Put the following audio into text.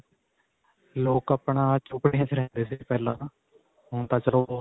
ਲੋਕ ਆਪਣਾ ਝੋਪੜੀਆਂ ਵਿੱਚ ਰਹੰਦੇ ਸੀ ਪਹਿਲਾਂ ਤਾਂ ਹੁਣ ਤਾਂ ਚਲੋ.